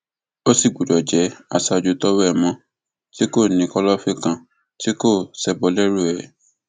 ó sì gbọdọ jẹ aṣáájú tọwọ ẹ mọ tí kò ní kọlọfín kan tí kò ṣebọ lẹrú ẹ